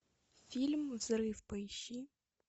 фильм взрыв поищи